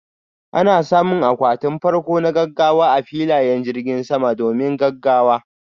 Ana samun akwati farko na gaggawa a filayen jirgin, domin gaggawa.